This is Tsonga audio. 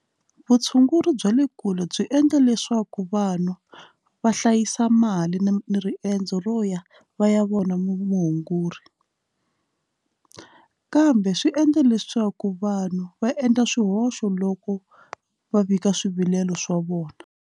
Vutshunguri bya le kule byi endla leswaku vanhu va hlayisa mali na riendzo ro ya va ya vona mutshunguri kambe swi endla leswaku vanhu va endla swihoxo loko va vika swivilelo swa vona.